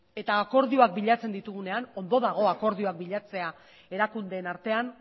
eta akordioak bilatzen ditugunean ondo dago akordioak bilatzea erakundeen artean